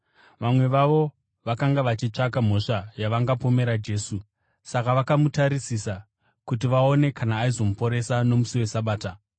Vamwe vavo vakanga vachitsvaka mhosva yavangapomera Jesu, saka vakamutarisisa kuti vaone kana aizomuporesa nomusi weSabata.